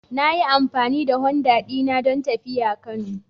Na yi amfani da Honda dina don tafiya Kano.